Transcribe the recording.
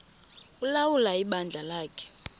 ulawula ibandla lakhe